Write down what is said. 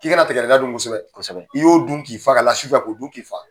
K'i kana tigɛdɛgɛ nan dun kosɛbɛ i y'o dun k'i fa ka la su fɛ k'o dun k'i fa.